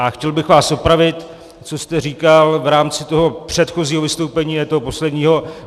A chtěl bych vás opravit, co jste říkal v rámci toho předchozího vystoupení, ne toho posledního.